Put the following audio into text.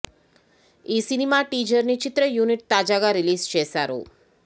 ఈ cinema teaser ని చిత్ర యూనిట్ తాజాగా రిలీజ్ చేసారు